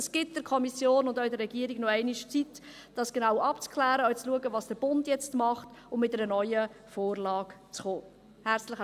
Das gibt der Kommission und auch der Regierung nochmals die Zeit, dies genau abzuklären und auch zu schauen, was der Bund jetzt macht, und mit einer neuen Vorlage zu kommen.